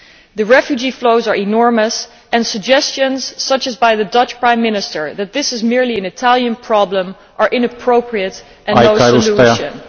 The refugee flows are enormous, and suggestions such the one as by the Dutch Prime Minister that this is merely an Italian problem are inappropriate and no solution.